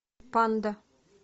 панда